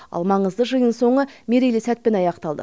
ал маңызды жиын соңы мерейлі сәтпен аяқталды